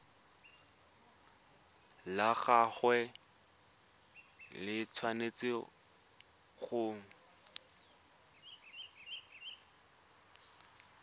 la gagwe le tshwanetse go